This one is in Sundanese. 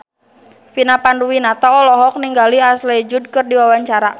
Vina Panduwinata olohok ningali Ashley Judd keur diwawancara